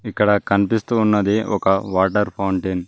ఇక్కడ కనిపిస్తూ ఉన్నది ఒక వాటర్ ఫౌంటెన్ .